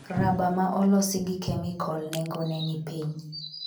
Raba ma olosi gi kemikol nengone ni piny